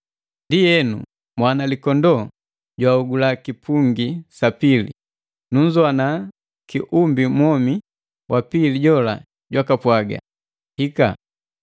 Ndienu, Mwanalikondoo jwahogula kipungi sa pili. Nunzowana kiumbi mwomi wa pili jola jwaka pwaga, “Hika!”